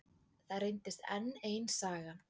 Það reyndist enn ein sagan.